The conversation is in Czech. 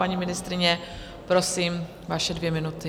Paní ministryně, prosím, vaše dvě minuty.